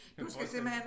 Kunne jeg forestille mig